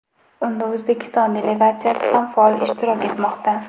Unda O‘zbekiston delegatsiyasi ham faol ishtirok etmoqda.